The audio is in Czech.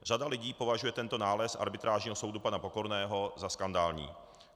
Řada lidí považuje tento nález arbitrážního soudu pana Pokorného za skandální.